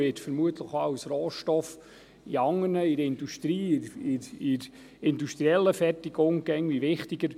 Öl wird vermutlich auch als Rohstoff in anderen …, in der Industrie, in der industriellen Fertigung immer wichtiger.